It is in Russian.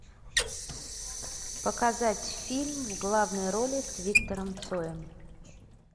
показать фильм в главной роли с виктором цоем